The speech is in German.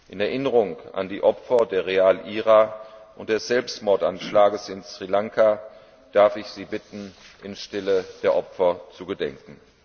In Erinnerung an die Opfer der Real IRA und des Selbstmordanschlages in Sri Lanka darf ich Sie bitten, in Stille der Opfer zu gedenken.